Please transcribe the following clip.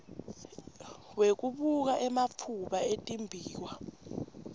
wekubuka ematfuba etimbiwa